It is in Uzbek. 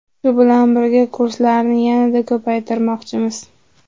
Shu bilan birga kurslarni yanada ko‘paytirmoqchimiz.